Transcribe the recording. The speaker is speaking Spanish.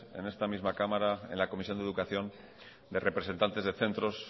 en esta misma cámara en la comisión de educación de representantes de centros